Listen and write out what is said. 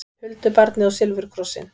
Huldubarnið og silfurkrossinn